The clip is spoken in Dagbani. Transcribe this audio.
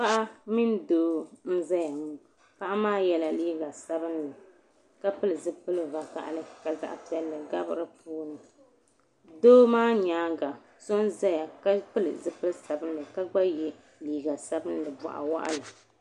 Paɣa mini doo n zaya ŋɔ paɣa maa yela liiga sabinli ka pili zipili vakahali ka zaɣa piɛlli gabi di puuni doo maa nyaanga so n zaya ka pili zipili sabinli ka gba ye liiga sabinli boɣu waɣala.